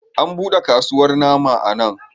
An buɗe kasuwar nama a nan.